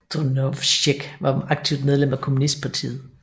Drnovšek var aktivt medlem af kommunistpartiet